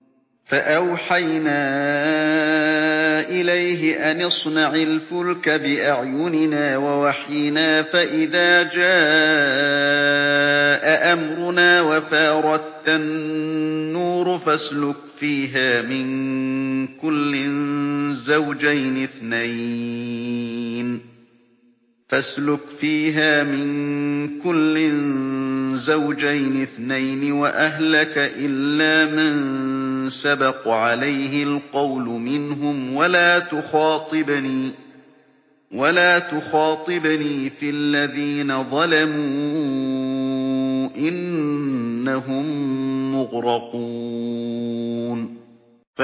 فَأَوْحَيْنَا إِلَيْهِ أَنِ اصْنَعِ الْفُلْكَ بِأَعْيُنِنَا وَوَحْيِنَا فَإِذَا جَاءَ أَمْرُنَا وَفَارَ التَّنُّورُ ۙ فَاسْلُكْ فِيهَا مِن كُلٍّ زَوْجَيْنِ اثْنَيْنِ وَأَهْلَكَ إِلَّا مَن سَبَقَ عَلَيْهِ الْقَوْلُ مِنْهُمْ ۖ وَلَا تُخَاطِبْنِي فِي الَّذِينَ ظَلَمُوا ۖ إِنَّهُم مُّغْرَقُونَ